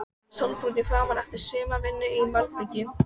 Sólbrúnn í framan eftir sumarvinnu í malbiki.